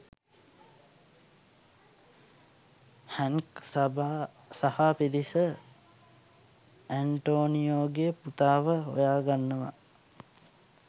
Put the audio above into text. හැන්ක් සහා පිරිස ඇන්ටෝනියෝගේ පුතාව හොයා ගන්නවා.